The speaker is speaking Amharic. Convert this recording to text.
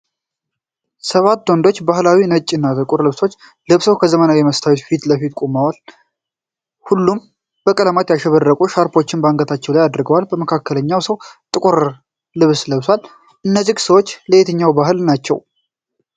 ሰባት ወንዶች ባህላዊ ነጭ እና ጥቁር ልብሶችን ለብሰው ከዘመናዊ የመስታወት ህንጻ ፊት ለፊት በቡድን ቆመዋል። ሁሉም በቀለማት ያሸበረቁ ሻርፖችን አንገታቸው ላይ አድርገዋል። መካከለኛው ሰው ጥቁር ልብስ ለብሷል። እነዚህ ሰዎች ከየትኛው ባህል ናቸው?